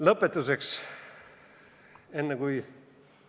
Lõpetuseks, enne kui ...